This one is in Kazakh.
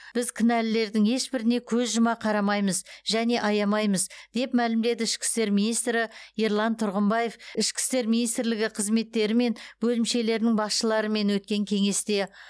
біз кінәлілердің ешбіріне көз жұма қарамаймыз және аямаймыз деп мәлімдеді ішкі істер министрі ерлан тұрғымбаев ішкі істер министрлігі қызметтері мен бөлімшелерінің басшыларымен өткен кеңесте